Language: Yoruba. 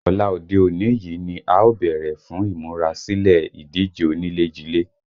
Ọ̀la òde òní yìí ni a ó bẹ̀rẹ̀ fún ìmúra sílè ìdíje onílé-jilé